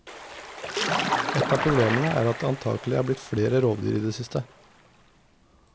Ett av problemene er at det antagelig er blitt flere rovdyr i det siste.